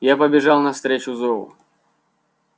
я побежал навстречу зову